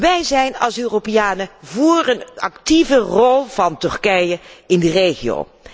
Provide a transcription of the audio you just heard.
beleid. Wij zijn als Europeanen voor een actieve rol van Turkije in de